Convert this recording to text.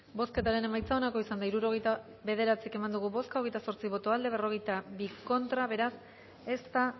bozketaren emaitza onako izan da hirurogeita hamar eman dugu bozka hogeita zortzi boto aldekoa cuarenta y dos contra beraz ez da